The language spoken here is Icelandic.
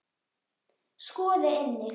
Skoði einnig